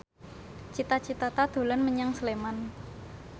Cita Citata dolan menyang Sleman